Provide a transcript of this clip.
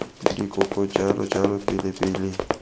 dikoko jalo jalo pele pele